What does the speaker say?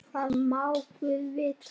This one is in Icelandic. Það má guð vita.